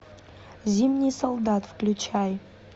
зимний солдат включай